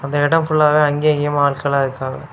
இந்த இடம் ஃபுல்லாவே அங்கயும் இங்கயுமா ஆட்களா இருக்காங்க.